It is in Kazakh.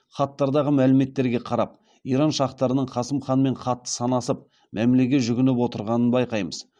хаттардағы мәліметтерге қарап иран шахтарының қасым ханмен қатты санасып мәмілеге жүгініп отырғанын байқаймыз